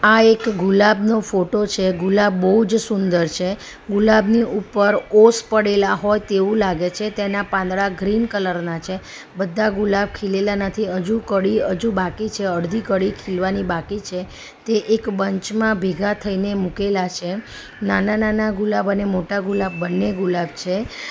આ એક ગુલાબ નો ફોટો છે ગુલાબ બઉ જ સુંદર છે ગુલાબની ઉપર ઓસ પડેલા હોય તેવું લાગે છે તેના પાંદડા ગ્રીન કલર ના છે બધા ગુલાબ ખીલેલા નથી હજુ કડી અજુ બાકી છે અડધી કડી ખીલવાની બાકી છે તે એક બંચ માં ભેગા થઈને મુકેલા છે નાના-નાના ગુલાબ અને મોટા ગુલાબ બંને ગુલાબ છે.